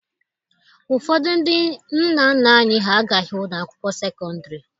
Ụfọdụ ndị nna nna anyị ha agaghị ụlọ akwụkwọ sekọndịrị.